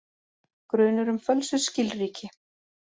Grunur um fölsuð skilríki